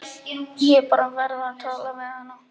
Ég bara verð að tala við hana.